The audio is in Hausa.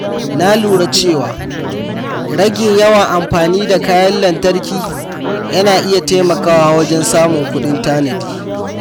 Na lura cewa rage yawan amfani da kayan lantarki yana iya taimakawa wajen samun kuɗin tanadi.